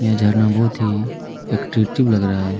यह झरना बहुत ही अट्रैक्टिव लग रहा है।